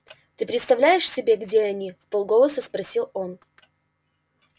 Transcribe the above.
ты представляешь себе где они вполголоса спросил он